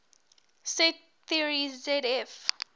set theory zf